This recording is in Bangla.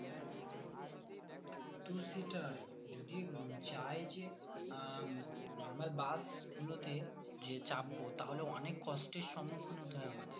two seater যদি উম চাই যে আ উম normal bus গুলোতে যে চাপবো তাহলেও অনেক কষ্টের সম্মুখীন হতে হয় আমাদের